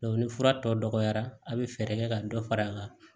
ni fura tɔw dɔgɔyara a bɛ fɛɛrɛ kɛ ka dɔ far'a kan